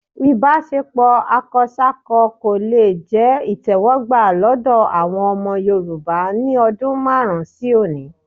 Ìbáṣepọ̀ akọsákọ kò le jẹ́ ìtẹ́wọ́gbà lọ́dọ̀ àwọn ọmọ Yorùbá ní ọdún márùn-ún sí òní